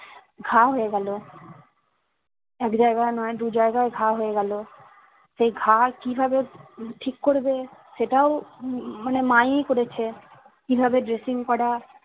ঘা হয়ে গেলো এক জায়গায় নয় দু জায়গায় ঘা হয়ে গেলো সেই ঘা কিভাবে ঠিক করবে সেটাও উম মানে মা ই করেছে কিভাবে dressing করা